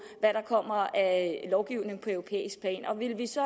hvad der kommer af lovgivning på europæisk plan og ville vi så